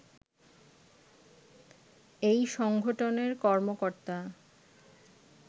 এই সংগঠনের কর্মকর্তা